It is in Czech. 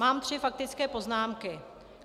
Mám tři faktické poznámky.